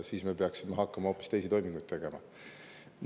Siis me peaksime hakkama hoopis teisi toiminguid tegema.